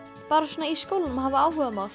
bara svona í skólanum og hefur áhugamál